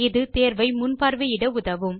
இது தேர்வை முன்பார்வையிட உதவும்